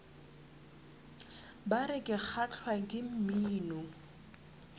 bar ke kgahlwa ke mmino